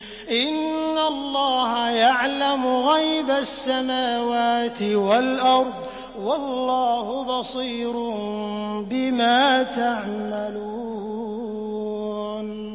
إِنَّ اللَّهَ يَعْلَمُ غَيْبَ السَّمَاوَاتِ وَالْأَرْضِ ۚ وَاللَّهُ بَصِيرٌ بِمَا تَعْمَلُونَ